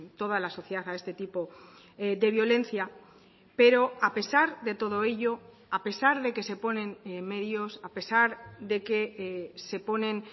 toda la sociedad a este tipo de violencia pero a pesar de todo ello a pesar de que se ponen medios a pesar de que se ponen